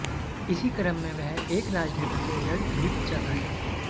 इसी क्रम में वह एक राजनेता से लड़ भिड़ जाता है